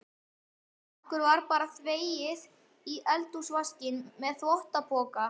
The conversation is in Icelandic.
Okkur var bara þvegið við eldhúsvaskinn með þvottapoka.